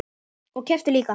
Og kepptu líka.